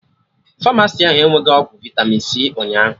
Famasi ahụ enweghi ọgwụ vitami c ụnyaahụ